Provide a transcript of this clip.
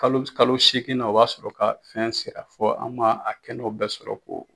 Kalo kalo seeginnan o b'a sɔrɔ ka fɛn sera fo an b'a a kɛnɛw bɛɛ sɔrɔ k'o